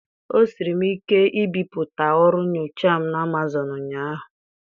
O siiri m ike ibipụta ọrụ nyocha m na Amazọnụ ụnyaahụ.